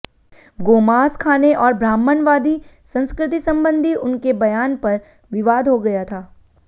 गोमांस खाने और ब्राह्मणवादी संस्कृति संबंधी उनके बयान पर विवाद हो गया था